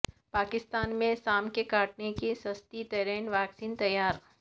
پاکستان میں سانپ کے کاٹے کی سستی ترین ویکسین تیار